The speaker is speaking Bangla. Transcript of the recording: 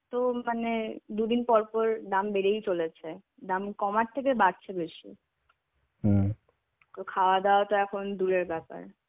তো মানে দুদিন পর পর দাম বেড়েই চলেছে. দাম কমার থেকে বাড়ছে বেশি. তো খাওয়া দাওয়া তো এখন দূরের ব্যাপার.